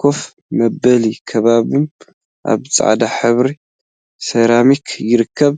ኮፍ መበሊን ከቢቦም አብ ፃዕዳ ሕብሪ ሰራሚክ ይርከቡ፡፡